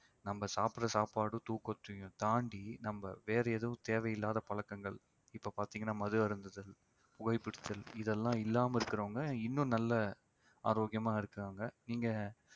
நம்ம சாப்பிடுற சாப்பாடு தூக்கத்தையும் தாண்டி நம்ம வேற எதுவும் தேவையில்லாத பழக்கங்கள் இப்ப பார்த்தீங்கன்னா மது அருந்துதல், புகை பிடித்தல் இதெல்லாம் இல்லாமல் இருக்கிறவங்க இன்னும் நல்ல, ஆரோக்கியமா இருக்கிறாங்க நீங்க